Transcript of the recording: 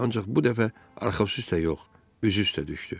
Ancaq bu dəfə arxası üstə yox, üzü üstə düşdü.